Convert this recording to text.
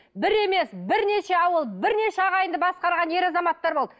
бір емес бірнеше ауыл бірнеше ағайынды басқарған ер азаматтар болды